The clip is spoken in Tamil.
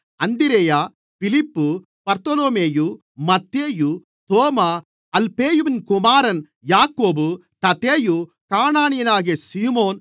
அந்திரேயா பிலிப்பு பர்தொலொமேயு மத்தேயு தோமா அல்பேயுவின் குமாரன் யாக்கோபு ததேயு கானானியனாகிய சீமோன்